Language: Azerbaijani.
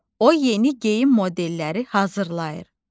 O yeni geyim modelləri hazırlayır.